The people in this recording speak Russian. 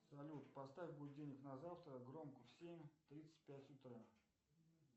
салют поставь будильник на завтра громко в семь тридцать пять утра